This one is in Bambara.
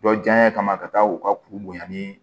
Dɔ jaɲa kama ka taa u ka kuru bonya ni